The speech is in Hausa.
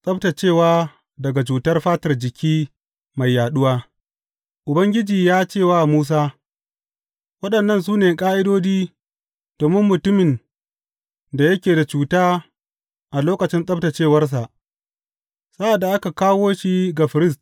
Tsabtaccewa daga cutar fatar jiki mai yaɗuwa Ubangiji ya ce wa Musa, Waɗannan su ne ƙa’idodi domin mutumin da yake da cuta a lokacin tsabtaccewarsa, sa’ad da aka kawo shi ga firist.